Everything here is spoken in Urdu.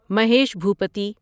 مہیش بھوپتی